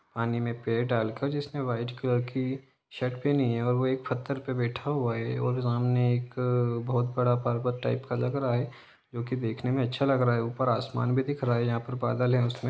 पानी में पैर डालके जिसने वाइट कलर की शर्ट पहनी है वे एक पत्थर पे बैठा हुआ है और सामने एक बहुत बड़ा पर्वत टाइप का लग रहा है जो के देखने में अच्छा लग रह है ऊपर आसमान भी दिख रहा है यहां पर ऊपर बादल है उसमे --